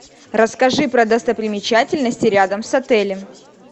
расскажи про достопримечательности рядом с отелем